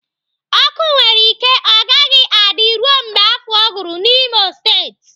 Ọkụ nwere ike ọ gaghị adị ruo mgbe afọ gwụrụ n'Imo State